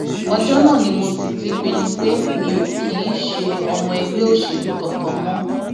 ọjọ náà ni mo sì ti pinnu pé mi ò kì í ṣe ọmọ ẹgbẹ òṣèlú kankan mọ